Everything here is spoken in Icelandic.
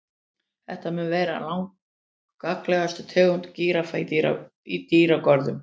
Þetta mun vera langalgengasta tegund gíraffa í dýragörðum.